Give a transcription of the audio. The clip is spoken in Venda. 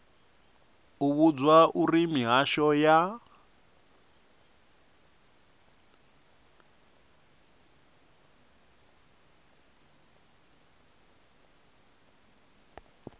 u vhudzwa uri mihasho ya